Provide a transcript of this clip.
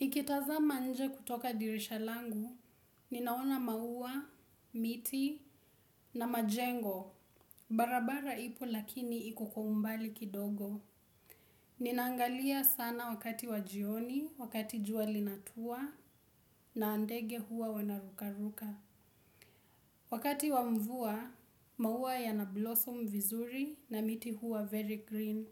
Nikitazama nje kutoka dirisha langu, ninaona maua, miti, na majengo, barabara ipo lakini iko kwa umbali kidogo. Ninaangalia sana wakati wa jioni, wakati jua linatua, na ndege huwa wanaruka ruka. Wakati wa mvua, maua yana blossom vizuri na miti huwa very green.